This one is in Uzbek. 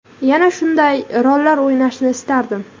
Yana shunday rollar o‘ynashni istardim.